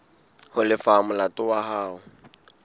ho lefa molato wa hao